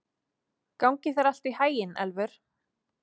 Gangi þér allt í haginn, Elfur.